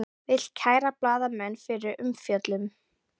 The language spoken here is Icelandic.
Vill kæra blaðamenn fyrir umfjöllun